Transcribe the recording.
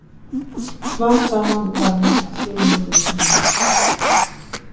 Smám saman varð hún að fyrirmyndinni minni.